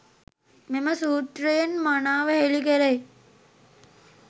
මෙම සූත්‍රයෙන් මනාව හෙළි කෙරෙයි.